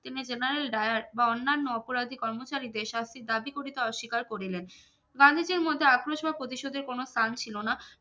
তিনি generaldayar বা অন্যান্য অপরাধী কর্মচারী দের শাস্তির দাবি করিতে অস্বীকার করিলেন গান্ধীজির মধ্যে আক্রোশ বা প্রতিশোধের কোনো স্থান ছিলো না